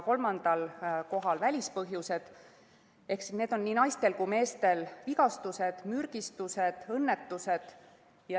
Kolmandal kohal on välispõhjused, need on nii naistel kui ka meestel vigastused, mürgistused ja õnnetused.